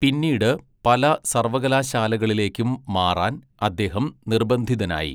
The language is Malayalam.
പിന്നീട് പല സർവ്വകലാശാലകളിലേക്കും മാറാൻ അദ്ദേഹം നിർബന്ധിതനായി.